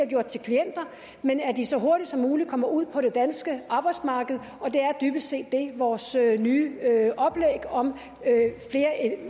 gjort til klienter men at de så hurtigt som muligt kommer ud på det danske arbejdsmarked og det er dybest set det vores nye oplæg om flere